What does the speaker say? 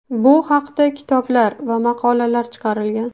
Bu haqda kitoblar va maqolalar chiqarilgan.